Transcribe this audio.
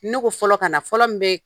Ne ko fɔlɔ ka na, fɔlɔ min bɛ